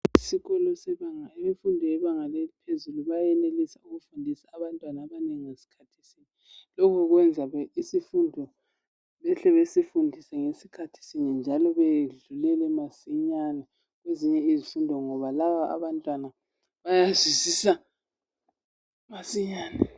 Sikhona isibanga imfundo yebanga ephezulu bayenelisa ukufundisa abantwana abanengi ngesikhathi sinye. Lokhu kwenza isifundo behle besifundise ngesikhathi sinye njalo bedlulele masinyane ezinye izifundo ngoba laba abantwana bayazwisisa masinyane.